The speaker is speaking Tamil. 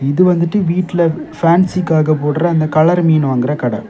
இது வந்துட்டு வீட்ல பேன்சிக்காக போடுற அந்த கலர் மீன் வாங்குற கடை.